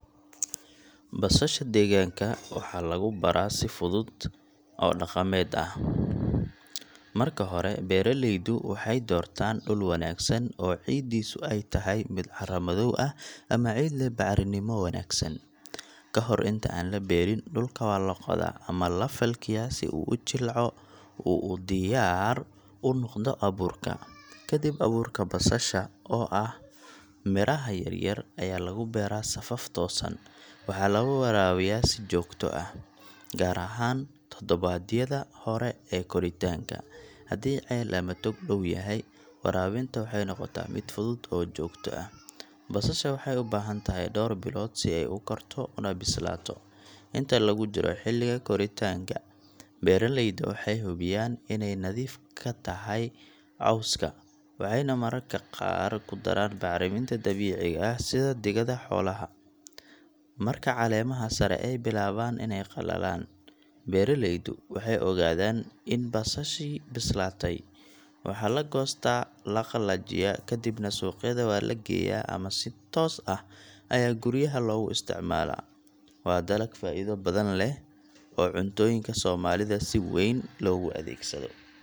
Basasha deegaanka waxaa lagu baraa si fudud oo dhaqameed ah. Marka hore, beeraleydu waxay doortaan dhul wanaagsan oo ciiddiisu ay tahay mid carro madow ah ama ciid leh bacrinimo wanaagsan. Ka hor inta aan la beerin, dhulka waa la qodaa ama la falkiyaa si uu u jilco oo uu u diyaar u noqdo abuurka. Ka dib, abuurka basasha oo ah iniinaha yar yar ayaa lagu beeraa safaf toosan. Waxaa la waraabiyaa si joogto ah, gaar ahaan toddobaadyada hore ee koritaanka. Haddii ceel ama tog dhow yahay, waraabinta waxay noqotaa mid fudud oo joogto ah. Basasha waxay u baahan tahay dhowr bilood si ay u korto una bislaato. Inta lagu jiro xilliga koritaanka, beeraleyda waxay hubiyaan inay nadiif ka tahay cawska, waxayna mararka qaar ku daraan bacriminta dabiiciga ah sida digada xoolaha. Marka caleemaha sare ay bilaabaan inay qalalaan, beeraleydu waxay ogaadaan in basashii bislaatay. Waxaa la goostaa, la qalajiyaa, ka dibna suuqyada waa la geeyaa ama si toos ah ayaa guryaha loogu isticmaalaa. Waa dalag faa’iido badan leh oo cuntooyinka Soomaalida si weyn loogu adeegsado.